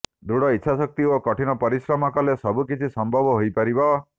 ଦୃଢ଼ ଇଚ୍ଛାଶକ୍ତି ଓ କଠିନ ପରିଶ୍ରମ କଲେ ସବୁ କିଛି ସମ୍ଭବ ହୋଇପାରିବ